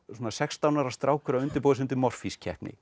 svona sextán ára strákur að undirbúa sig fyrir MORFÍS keppni